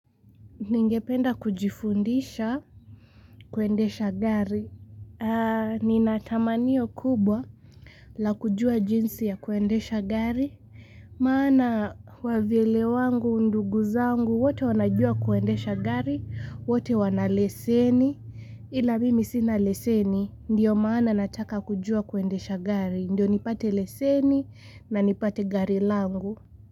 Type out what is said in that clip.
Ningependa kujifundisha kuendesha gari. Nina tamanio kubwa la kujua jinsi ya kuendesha gari. Maana wavile wangu, ndugu zangu, wote wanajua kuendesha gari, wote wanaleseni. Ila mimi sina leseni, ndiyo maana nataka kujua kuendesha gari. Ndiyo nipate leseni na nipate gari langu.